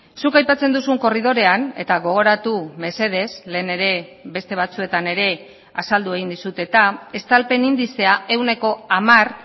zuk aipatzen duzun korridorean eta gogoratu mesedez lehen ere beste batzuetan ere azaldu egin dizut eta estalpen indizea ehuneko hamar